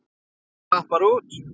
Hann slapp bara út.